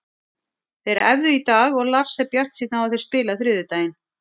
Þeir æfðu í dag og Lars er bjartsýnn á að þeir spili á þriðjudaginn.